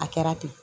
A kɛra ten